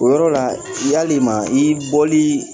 O yɔrɔ la yalima i boli